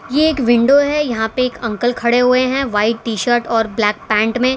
ए एक विंडो है यहां पे एक अंकल खड़े हुए हैं व्हाइट टी शर्ट और ब्लैक पैंट में।